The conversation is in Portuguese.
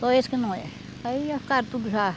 Só esse que não é. Aí já ficaram tudo já.